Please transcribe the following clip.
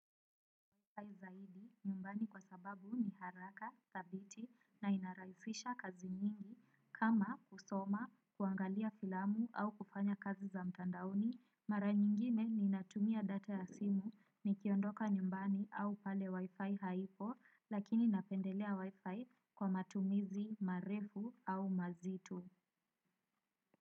Kwa zaidi nyumbani kwa sababu ni haraka, thabiti na inarahisisha kazi nyingi kama kusoma, kuangalia filamu au kufanya kazi za mtandaoni, mara nyingine ninatumia data ya simu nikiondoka nyumbani au pale wi-fi haipo lakini napendelea wi-fi kwa matumizi, marefu au mazitu.